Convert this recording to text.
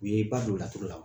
U ye ba do laturu la wa